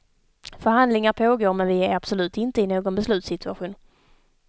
Förhandlingar pågår men vi är absolut inte i någon beslutssituation.